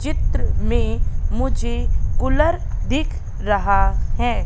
चित्र में मुझे कुलर दिख रहा है।